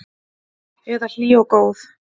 Eða hlý og góð?